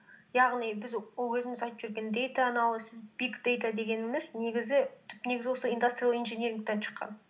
яғни біз ол өзіміз айтып жүрген дэйта анализис биг дэйта дегеніміз негізі түп негізі осы индастриал инжинирингтен шыққан